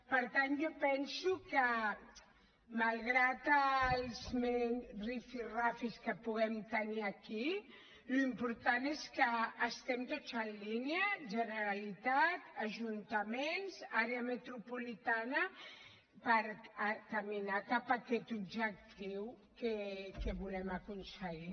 per tant jo penso que malgrat els rifirrafes que puguem tenir aquí l’important és que estiguem tots en línia generalitat ajuntaments àrea metropolitana per caminar cap a aquest objectiu que volem aconseguir